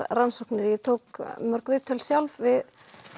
rannsóknir ég tók mörg viðtöl sjálf við